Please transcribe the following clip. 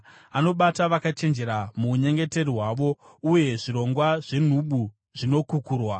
Anobata vakachenjera muunyengeri hwavo, uye zvirongwa zvenhubu zvinokukurwa.